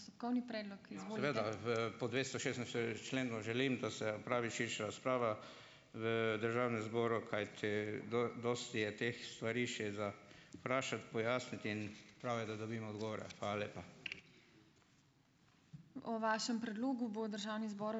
V, po dvestošestinštiridesetem členu želim, da se opravi širša razprava v državnem zboru. Kajti dosti je teh stvari še za vprašati, pojasniti. In prav je, da dobimo odgovore. Hvala lepa.